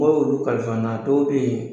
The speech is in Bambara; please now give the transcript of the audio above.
Mɔgɔw y'olu kalifa n na dɔw bɛ yen